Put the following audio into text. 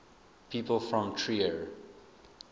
people from trier